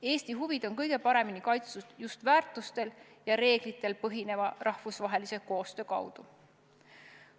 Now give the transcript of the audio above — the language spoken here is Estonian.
Eesti huvid on kõige paremini kaitstud just väärtustel ja reeglitel põhineva rahvusvahelise koostöö kaudu.